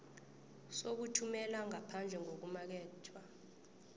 sokuthumela ngaphandle ngokumakethwa